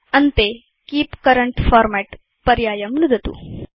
अन्ते keep current format पर्यायं नुदतु